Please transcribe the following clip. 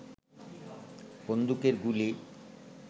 বন্দুকের গুলি